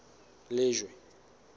lejwe